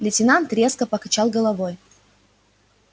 лейтенант резко покачал головой